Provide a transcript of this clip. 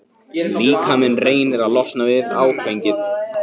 Líkaminn reynir að losna við áfengið.